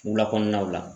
Wula kɔnɔnaw la